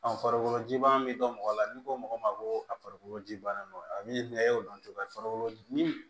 farikolo ji bɔn bɛ dɔn mɔgɔ la ni ko mɔgɔ ma ko a farikolo ji bana don a min y'o dɔn cogo ye farikolo ni